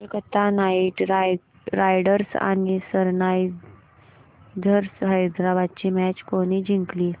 Kolkata Knight Riders आणि Sunrisers Hyderabad ही match कोणी जिंकली